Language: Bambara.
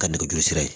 Ka nɛgɛjurusira ye